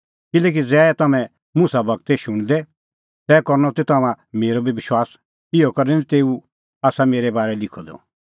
किल्हैकि ज़ै तम्हैं मुसा गूरो शुणदै तै करनअ त तम्हां मेरअ बी विश्वास इहअ करै कि तेऊ आसा मेरै बारै लिखअ द